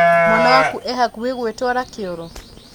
Mwana waku e hakuhĩ gwĩtwara kĩoro?